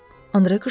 Andre qışqırdı.